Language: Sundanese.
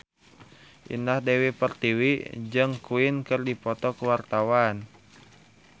Indah Dewi Pertiwi jeung Queen keur dipoto ku wartawan